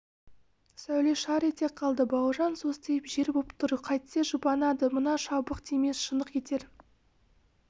сәуле шар ете қалды бауыржан состиып жер боп тұр қайтсе жұбанады мына шыбық тимес шыңқ етер